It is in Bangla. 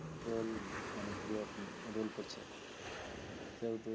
Roll মানে hero roll করছে সেহেতু